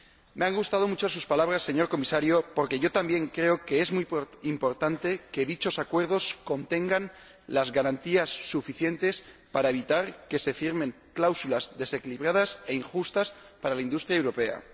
Me han gustado mucho sus palabras, señor Comisario, porque yo también creo que es muy importante que dichos acuerdos contengan las garantías suficientes para evitar que se firmen cláusulas desequilibradas e injustas para la industria europea.